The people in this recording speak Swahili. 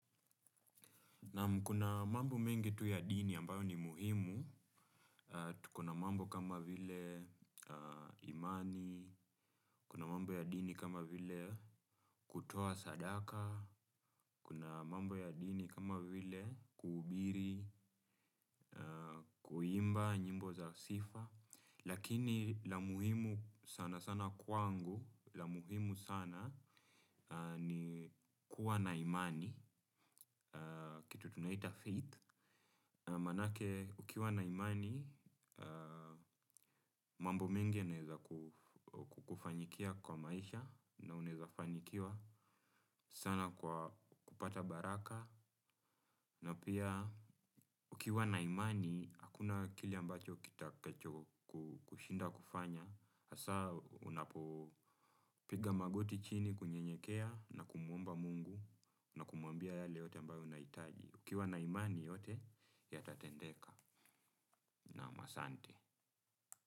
Kuna mambo mengi tuya dini ambayo ni muhimu, tukona mambo kama vile imani, kuna mambo ya dini kama vile kutoa sadaka, kuna mambo ya dini kama vile kuhubiri, kuimba, nyimbo za sifa. Lakini la muhimu sana sana kwangu, la muhimu sana ni kuwa na imani, kitu tunaita faith. Manake ukiwa na imani, mambo mengi yanaeza kukufanyikia kwa maisha na unaeza fanikiwa sana kwa kupata baraka. Na pia ukiwa na imani, hakuna kile ambacho kitakacho kushinda kufanya. Hasa unapopiga magoti chini kunye nyekea na kumuomba mungu na kumwambia yale yote ambayo unaitaji. Ukiwa na imani yote, yatatendeka nam asante.